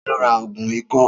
Ta ló ra ògùn ikọ́?